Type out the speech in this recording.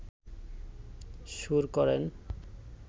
সুর করেন